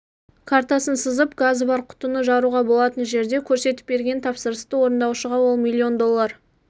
картасын сызып газы бар құтыны жаруға болатын жерде көрсетіп берген тапсырысты орындаушыға ол миллион доллар